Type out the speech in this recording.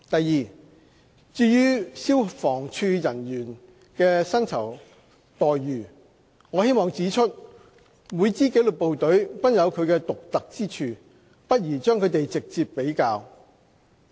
二至於消防處人員的薪酬待遇，我希望指出每支紀律部隊均有其獨特之處，不宜將它們直接比較。